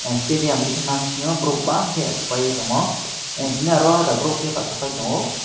stadium digi mamsio borok bang ke achuklaie tongo tini aro borok ke bachapai tongo.